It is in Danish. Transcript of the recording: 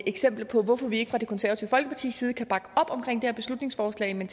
eksempler på hvorfor vi fra det konservative folkepartis side ikke kan bakke op omkring det her beslutningsforslag men